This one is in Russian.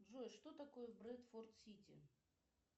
джой что такое брэдфорд сити